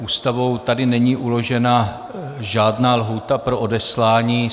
Ústavou tady není uložena žádná lhůta pro odeslání.